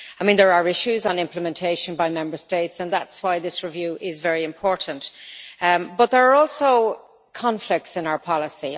There are issues on implementation by Member States, and that is why this review is very important, but there are also conflicts in our policy.